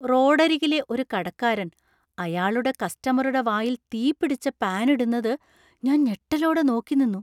റോഡരികിലെ ഒരു കടക്കാരൻ അയാളുടെ കസ്റ്റമറുടെ വായിൽ തീപിടിച്ച പാൻ ഇടുന്നത് ഞാൻ ഞെട്ടലോടെ നോക്കിനിന്നു.